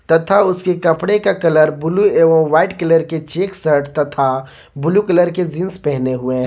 तथा उसके कपड़े का कलर ब्लू एवं व्हाइट कलर के चेक शर्ट तथा ब्लू कलर के जींस पहने हुए।